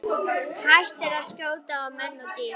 Hættir að skjóta á menn og dýr.